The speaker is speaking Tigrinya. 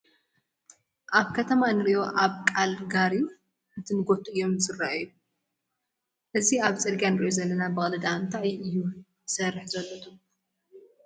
ኣብ ከተማ እንሪኦም ኣብቃል ጋሪ ትንትጐቱ እዮም ዝርአየ፡፡ እዚ ኣብቲ ፅርጊያ እንሪኦ ዘለና በቕሊ ድኣ እንታይ እዩ ይሰርሕ ዘሎ ትብሉ?